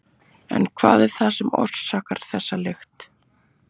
En hvað er það sem orsakar þessa lykt?